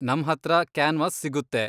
ನಮ್ಹತ್ರ canvas ಸಿಗುತ್ತೆ.